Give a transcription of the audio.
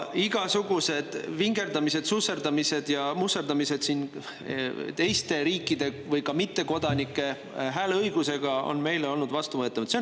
Igasugused vingerdamised, susserdamised ja musserdamised teiste riikide või ka mittekodanike hääleõigusega on meile olnud vastuvõetamatud.